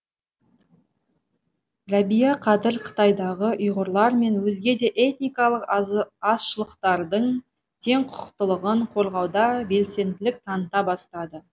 рәбия қадыр қытайдағы ұйғырлар мен өзге де этникалық азшылықтардың теңқұқықтылығын қорғауда белсенділік таныта бастады